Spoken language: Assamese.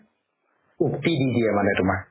উক্তি দি দিয়ে মানে তুমাৰ